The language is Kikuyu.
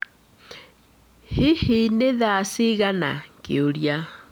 Hihi nĩ thaa cigana?